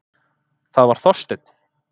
Það var Þorsteinn.